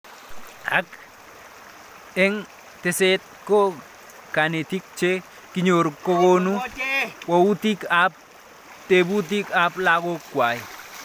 Ak eng' teset ko kanetik che kinyoru kokonu walutik ab tebutik ab lakok kwai